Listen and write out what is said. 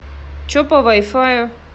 че по вай фаю